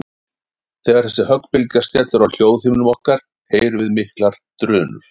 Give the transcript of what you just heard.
Þegar þessi höggbylgja skellur á hljóðhimnum okkar heyrum við miklar drunur.